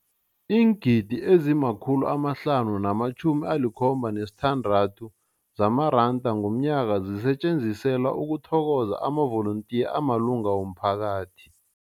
Iingidi ezima-576 zamaranda ngomnyaka zisetjenziselwa ukuthokoza amavolontiya amalunga womphakathi.